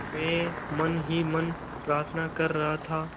मैं मन ही मन प्रार्थना कर रहा था